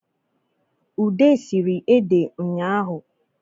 Ude sere ede nyahụ